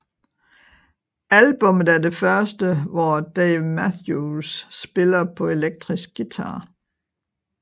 Albummet er det første hvor Dave Matthews spiller på elektrisk guitar